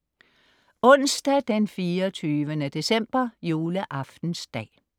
Onsdag 24. december, juleaftensdag